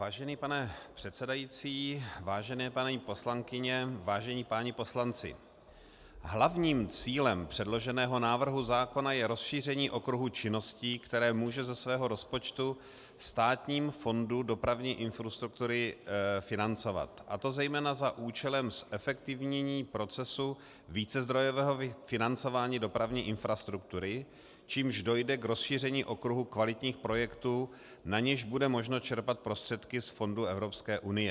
Vážený pane předsedající, vážené paní poslankyně, vážení páni poslanci, hlavním cílem předloženého návrhu zákona je rozšíření okruhu činností, které může ze svého rozpočtu Státní fond dopravní infrastruktury financovat, a to zejména za účelem zefektivnění procesu vícezdrojového financování dopravní infrastruktury, čímž dojde k rozšíření okruhu kvalitních projektů, na něž bude možno čerpat prostředky z fondů Evropské unie.